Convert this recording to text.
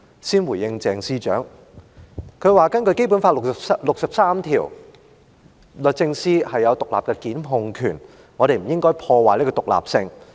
先回應鄭司長，她說根據《基本法》第六十三條，律政司有獨立檢控權，我們不應該破壞這種獨立性。